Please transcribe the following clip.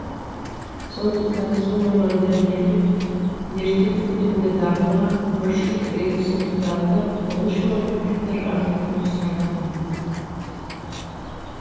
сондықтан су мамандары ерте көктемде дабыл қағып күріш егістігін жылдағыдан он үш мың гектарға азайтуды сұраған